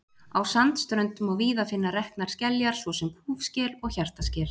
Á sandströnd má víða finna reknar skeljar, svo sem kúfskel og hjartaskel.